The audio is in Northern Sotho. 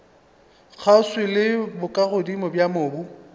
kgauswi le bokagodimo bja mobu